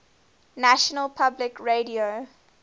national public radio